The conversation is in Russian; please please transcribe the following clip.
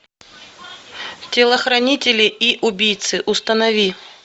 телохранители и убийцы установи